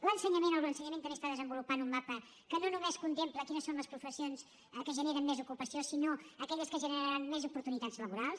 l’ensenyament també està desenvolupant un mapa que no només contempla quines són les professions que generen més ocupació sinó aquelles que generaran més oportunitats laborals